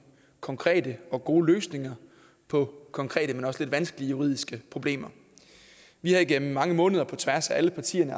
konkrete og gode løsninger på konkrete men også lidt vanskelige juridiske problemer vi har igennem mange måneder på tværs af alle partierne